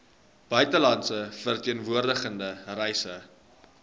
buitelandse verteenwoordiging reise